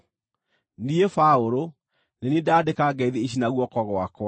Niĩ, Paũlũ, nĩ niĩ ndandĩka ngeithi ici na guoko gwakwa.